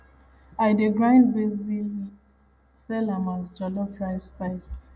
i dey dry grind basil sell am as jollof rice spice